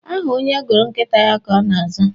Aha onye gụrụ nkịta ya ka ọ ga-aza.